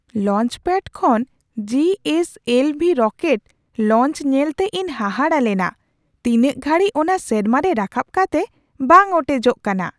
Launchpad ᱠᱷᱚᱱ G S L V rocket launch ᱧᱮᱞᱛᱮ ᱤᱧ ᱦᱟᱦᱟᱲᱟ ᱞᱮᱱᱟ ᱛᱤᱱᱟᱹᱜ ᱜᱷᱟᱹᱲᱤᱡ ᱚᱱᱟ ᱥᱮᱨᱢᱟ ᱨᱮ ᱨᱟᱠᱟᱯ ᱠᱟᱛᱮ ᱵᱟᱝ ᱚᱴᱮᱡᱚᱜ ᱠᱟᱱᱟ ᱾